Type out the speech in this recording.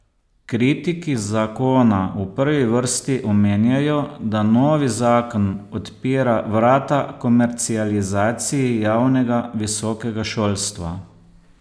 Kritiki zakona v prvi vrsti omenjajo, da novi zakon odpira vrata komercializaciji javnega visokega šolstva.